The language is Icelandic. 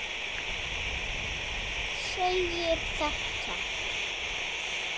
segir þetta